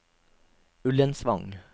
Ullensvang